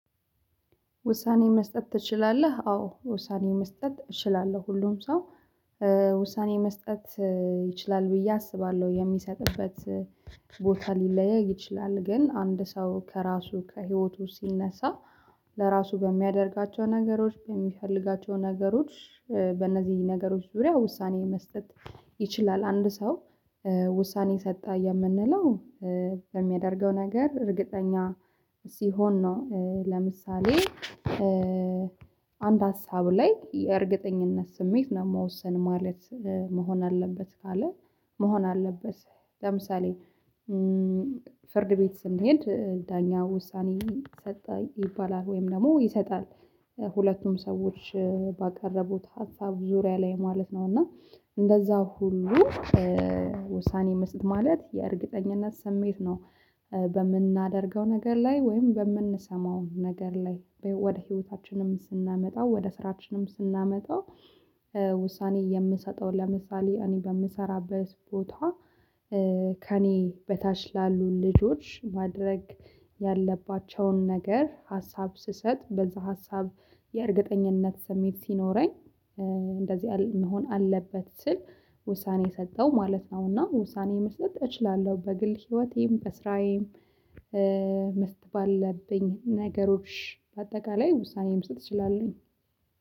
ውሳኔ መስጠት ትችላለህ? አዎ ውሳኔ መስጠት እችላለሁ። ሁሉም ሰው ውሳኔ መስጠት ይችላል ብዬ አስባለሁ። የሚሰጥበት ቦታ ሊለያይ ይችላል ግን አንድ ሰው ከራሱ ከሂወቱ ሲነሳ ለራሱ በሚያደርጋቸው ነገሮች፥ በሚፈልጋቸው ነገሮች በነዚህ ነገሮች ዙሪያ ውሳኔ መስጠት ይችላል። አንድ ሰው ውሳኔ ሰጠ የምንለው በሚያደርገው ነገር እርግጠኛ ሲሆን ነው። ለምሳሌ አንድ ሀሳብ ላይ የእርግጠኝነት ስሜት ለመወሰን ማለት መሆን አለበት ካለ መሆን አለበት። ለምሳሌ ፍርድ ቤት ስንሄድ ዳኛ ውሳኔ ይሰጣል ይባላል ወይም ደግሞ ይሰጣል። ሁለቱም ሰዎች ባቀረቡት ሀሳብ ዙሪያ ላይ ማለት ነው እና እንደዛ ሁሉ ውሳኔ መስጠት ማለት የእርግጠኝነት ስሜት ነው። በምናደርገው ነገር ላይ ወይም በምንሰማው ነገር ላይ ወደ ህይወታችንም ስናመጣው ወደ ስራችንም ስናመጣው ውሳኔ የምሰጠው ለምሳሌ እኔ በምሰራበት ቦታ፥ ከእኔ በታች ላሉ ልጆች ማድረግ ያለባቸውን ነገር ሀሳብ ስሰጥ በዛ ሀሳብ የእርግጠኝነት ስሜት ሲኖረኝ እንደዚህ መሆን አለበት ስል ውሳኔ ሰጠው ማለት ነው። እና ውሳኔ መስጠት እችላለሁ በግል ህይወቴም በስራዬም መስጠት ባለብኝ ነገሮች በአጠቃላይ ውሳኔ መስጠት እችላለው።